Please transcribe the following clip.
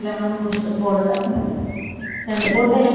நானும் booster போடல. ரெண்டு போட்டேன் ரெண்டு~